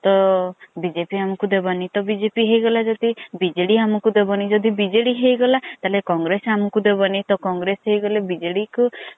ତ BJP ଆମକୁ ଦେବନି ତ BJP ହେଇଗଲା ଯଦି BJD ଆମକୁ ଦବାନୀ ଯଦି BJD ହେଇଗଲ ତ congress ଆମକୁ ଦବାନୀ ତ congress ସ ହେଇଗଲେ BJD କୁ